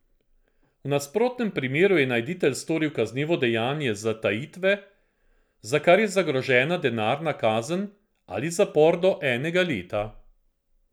V nasprotnem primeru je najditelj storil kaznivo dejanje zatajitve, za kar je zagrožena denarna kazen ali zapor do enega leta.